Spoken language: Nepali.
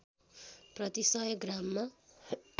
प्रति १०० ग्राममा